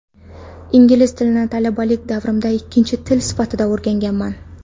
Ingliz tilini talabalik davrimda ikkinchi til sifatida o‘rganganman.